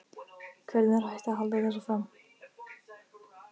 Hvernig er hægt að halda þessu fram?